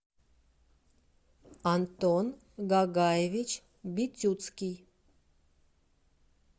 антон гагаевич битюцкий